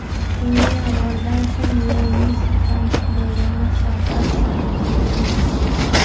Bunga yomg‘irdan so‘ng yo‘lning sirpanchiq bo‘lgani sabab sifatida ko‘rilmoqda.